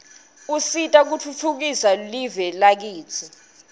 usita kutfhtfukisa live lakitsi